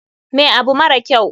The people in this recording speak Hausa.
Me abu mara kyau?